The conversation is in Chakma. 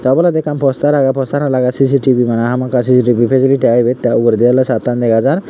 oboladi ekkan postar age postar lage c c t v mane hamakkai c c t v fesiliti age ibet te uguredi awle sattan dega jar.